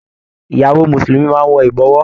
Ìyàwó mùsùlùmí máa n wọ ibọwọ́.